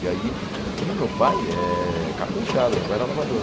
E aí e o meu pai é cara da enxada, meu pai era lavrador.